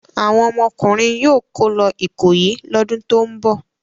Àwọn ọmọkùnrin yóò kó lọ Ìkòyí lọ́dún tó ń bọ̀.